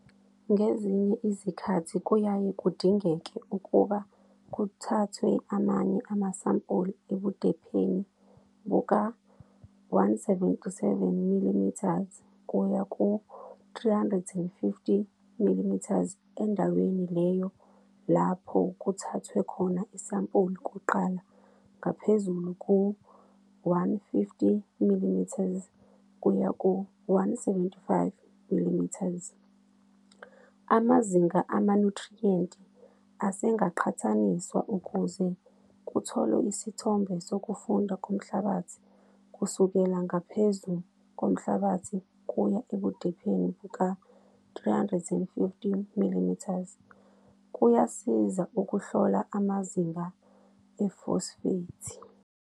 Ngezinye izikhathi kuyaye kudingeke ukuba kuthathwe amanye amasampuli ebudepheni buka-177 mm kuya ku-350 mm endaweni leyo lapho kuthathwe khona isampuli kuqala ngaphezulu ku-150 mm kuya ku-175 mm. Amazinga amanyuthriyenti asengaqhathaniswa ukuze kutholwe isithombe sokufunda komhlabathi kusukela ngaphezu komhlabathi kuya ebudepheni buka-350 mm. Kuyasiza ukuhlola amazinga efosfethi.